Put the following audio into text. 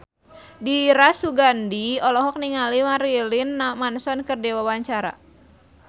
Dira Sugandi olohok ningali Marilyn Manson keur diwawancara